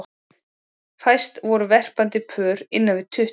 Fæst voru verpandi pör innan við tuttugu.